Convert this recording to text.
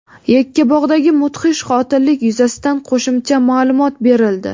Yakkabog‘dagi mudhish qotillik yuzasidan qo‘shimcha ma’lumot berildi.